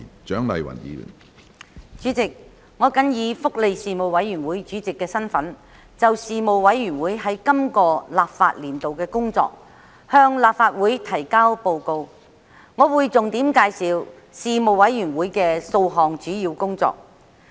主席，我謹以福利事務委員會主席的身份，就事務委員會在今個立法年度的工作，向立法會提交報告。我會重點介紹事務委員會數項主要工作。